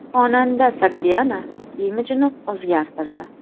Xonanda Sogdiana imijini o‘zgartirdi.